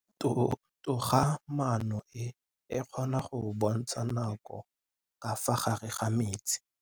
Toga-maanô e, e kgona go bontsha nakô ka fa gare ga metsi.